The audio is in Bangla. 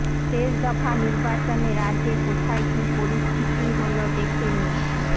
শেষ দফা নির্বাচনে রাজ্যে কোথায় কী পরিস্থিতি হল দেখে নিন